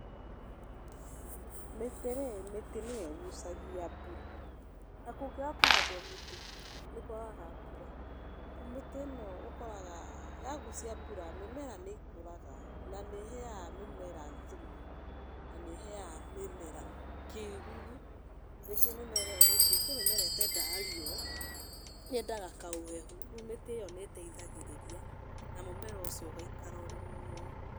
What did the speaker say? Mĩtĩ rĩ, mĩtĩ nĩyo ĩgucagia mbura, na kũngĩaga kũhandwo mĩtĩ nĩ kwagaga mbura. Rĩu mĩtĩ ĩno ũkoraga yagũcia mbura mĩmera nĩ ĩkũraga na nĩ ĩheaga mĩmera thumu na nĩ ĩheaga mĩmera kĩruru. Rĩngĩ mĩmera ĩyo rĩngĩ kwĩ mĩmera ĩtendaga riũa, yendaga kaũhehu, rĩu mĩtĩ ĩyo nĩ ĩteithagĩrĩria na mũmera ũcio ũkaikara ũrĩ muoyo.